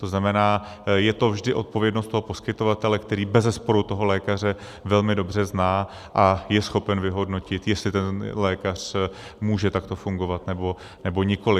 To znamená, je to vždy odpovědnost toho poskytovatele, který bezesporu toho lékaře velmi dobře zná a je schopen vyhodnotit, jestli ten lékař může takto fungovat, nebo nikoli.